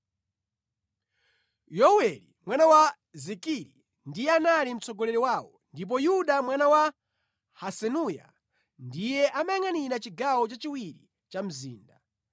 Yoweli mwana wa Zikiri ndiye anali mtsogoleri wawo, ndipo Yuda mwana wa Hasenuya ndiye amayangʼanira chigawo cha chiwiri cha mzinda.